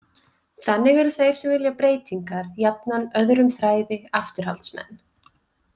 Þannig eru þeir sem vilja breytingar jafnan öðrum þræði afturhaldsmenn.